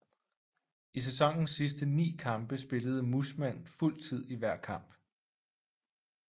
I sæsonens sidste 9 kampe spillede Mussmann fuld tid i hver kamp